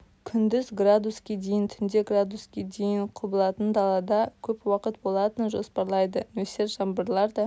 күндіз градуске дейін түнде градуске дейін құбылатын далалда көп уақыт болатынын жоспарлайды нөсер жаңбырлар да